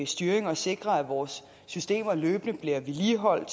styring og sikre at vores systemer løbende bliver vedligeholdt